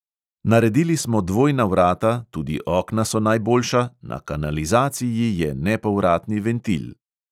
Naredili smo dvojna vrata, tudi okna so najboljša, na kanalizaciji je nepovratni ventil.